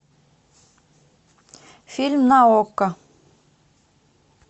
фильм на окко